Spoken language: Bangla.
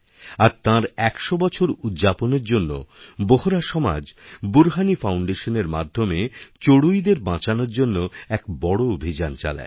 আর তাঁর একশো বছর উদ্যাপনের জন্য বোহরা সমাজ বুরহানিফাউণ্ডেশনএর মাধ্যমে চড়ুইদের বাঁচানোর জন্য এক বড় অভিযান চালায়